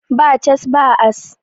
Ba cas, ba as